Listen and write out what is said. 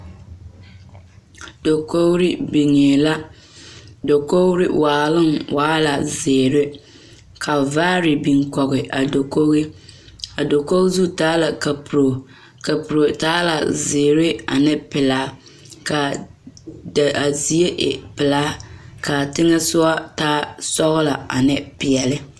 Dakogri niŋee la dakogri waaloŋ waa la zeere ka vaare biŋ kɔge a dakogi a dakogi zu taa la kapuro kapuro taa la zeere ane pelaa kaa zie e pelaa kaa teŋa soɔ taa sɔgelɔ ane peɛle